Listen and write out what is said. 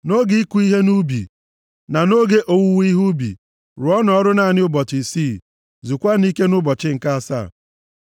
“Nʼoge ịkụ ihe nʼubi na nʼoge owuwe ihe ubi, rụọnụ ọrụ naanị ụbọchị isii. Zukwanụ ike nʼụbọchị nke asaa.